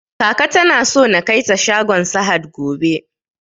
Kaka tana so na kaita shagon sahad gobe